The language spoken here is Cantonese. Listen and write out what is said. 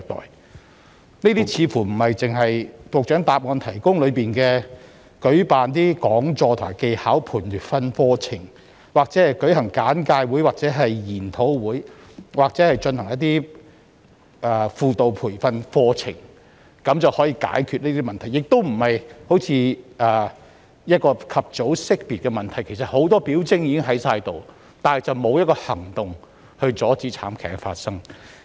這些問題似乎不能只靠局長在主體答覆所述的講座、技巧培訓課程、簡介會、研討會或輔導培訓課程解決，而且相關個案好像未獲及早識別，因為很多表徵已經存在，但當局卻沒有採取任何行動阻止慘劇發生。